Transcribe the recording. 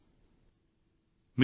ధన్యవాదాలు